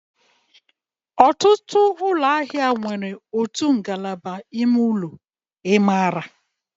Ọtụtụ ụlọ ahịa nwere otu ngalaba ime ụlọ. I maara?